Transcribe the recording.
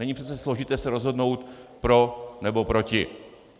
Není přece složité se rozhodnout pro nebo proti.